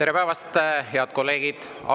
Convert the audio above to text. Tere päevast, head kolleegid!